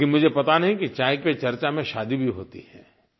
लेकिन मुझे पता नहीं कि चाय पर चर्चा में शादी भी होती है